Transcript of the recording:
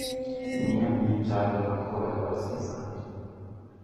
Ng'i ane chal mar kor lwasi sani.